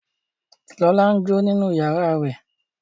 Lọlá n jó nínú yàrá rẹ̀